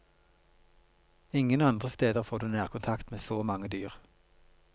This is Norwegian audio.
Ingen andre steder får du nærkontakt med så mange dyr.